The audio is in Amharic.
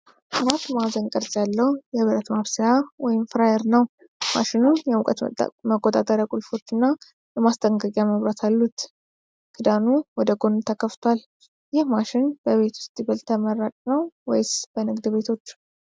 ይህ አራት ማዕዘን ቅርጽ ያለው የብረት ማብሰያ (ፍራየር) ነው። ማሽኑ የሙቀት መቆጣጠሪያ ቁልፎች እና የማስጠንቀቂያ መብራት አሉት። ክዳኑ ወደ ጎን ተከፍቷል። ይህ ማሽን በቤት ውስጥ ይበልጥ ተመራጭ ነው ወይስ በንግድ ቤቶች?